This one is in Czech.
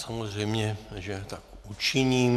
Samozřejmě, že tak učiním.